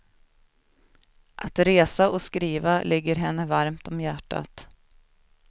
Att resa och skriva ligger henne varmt om hjärtat.